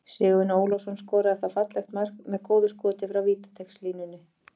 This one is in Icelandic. Sigurvin Ólafsson skoraði þá fallegt mark með góðu skoti frá vítateigslínunni.